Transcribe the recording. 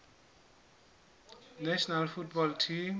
national football team